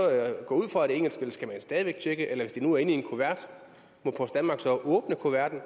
gå ud fra at engelsk eller skal man stadig væk tjekke eller hvis det nu er inde i en kuvert må post danmark så åbne kuverten